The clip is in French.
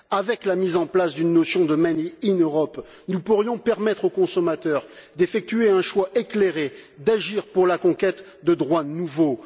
Avec la mise en place d'une notion made in Europe nous pourrions permettre aux consommateurs d'effectuer un choix éclairé, d'agir pour la conquête de droits nouveaux.